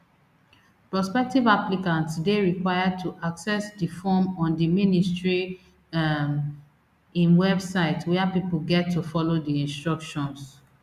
prospective applicants dey required to access di form on di ministry um im website wia pipo get to follow di instructions